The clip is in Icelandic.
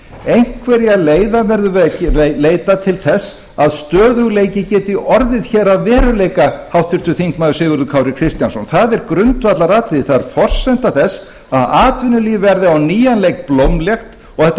einhverra leiða verðum við að leita til þess að stöðugleiki geti orðið að veruleika háttvirtur þingmaður sigurður kári kristjánsson það er grundvallaratriði það er forsenda þess að atvinnulíf verði á nýjan leik blómlegt og þetta